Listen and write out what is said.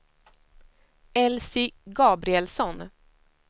Elsie Gabrielsson